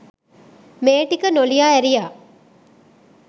මේ ටික නොලියා ඇරියා